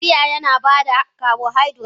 Taliya yana ba da carbohydrate.